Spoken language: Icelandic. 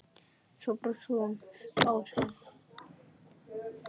Svo brosir hún alsæl.